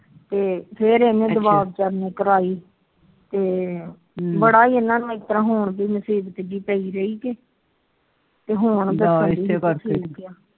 ਤੇ ਫਿਰ ਇਹਨੇ ਬੜਾ ਇਹਨਾ ਨੂੰ ਹੁਣ ਵੀ ਮੁਸੀਬਤ ਜੀ ਪਈ ਰਹੀ ਤੇ ਹੁਣ